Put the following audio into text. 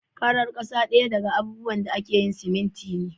Farar kasa daya daga abubuwan da ake yin siminti ne.